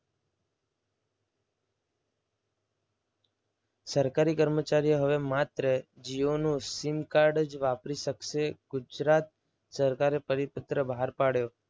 સરકારી કર્મચારીઓ હવે માત્ર જીઓનું સીમકાર્ડ જ વાપરી શકશે. ગુજરાત સરકારે પરિપત્ર બહાર પાડ્યો.